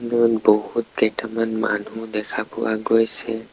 দূৰৈত বহুতকেইটামান মানুহ দেখা পোৱা গৈছে।